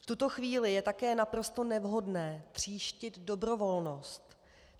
V tuto chvíli je také naprosto nevhodné tříštit dobrovolnost.